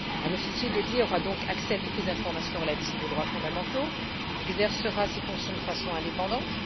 Un officier spécialisé aura donc accès à toutes les informations relatives aux droits fondamentaux et exercera ses fonctions de façon indépendante.